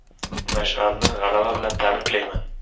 “Mash’al”ni g‘alaba bilan tabriklayman.